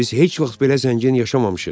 Biz heç vaxt belə zəngin yaşamamışıq.